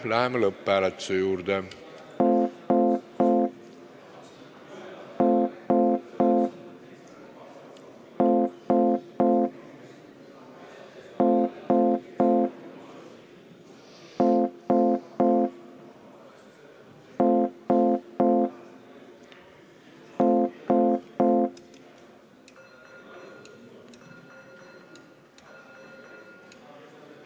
Läheme lõpphääletuse juurde.